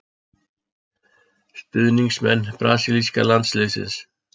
Stuðningsmenn brasilíska landsliðsins.